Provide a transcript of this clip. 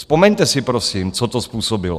Vzpomeňte si, prosím, co to způsobilo.